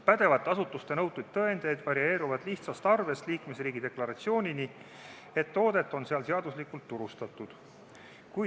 Pädevate asutuste nõutud tõendid varieeruvad lihtsast arvest liikmesriigi deklaratsioonini, mis tõestab, et toodet on seal seaduslikult turustatud.